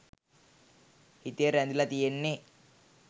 හිතේ රැඳිලා තියෙන්නෙ